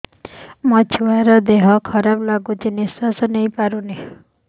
ମୋ ଛୁଆର ଦିହ ଖରାପ ଲାଗୁଚି ନିଃଶ୍ବାସ ନେଇ ପାରୁନି